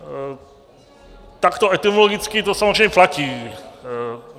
Takto etymologicky to samozřejmě platí.